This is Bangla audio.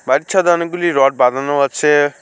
বাড়ির ছাদে অনেকগুলি রড বাঁধানো আছে।